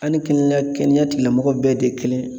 Ani kɛnɛya tigilamɔgɔw bɛɛ de ye kelen ye.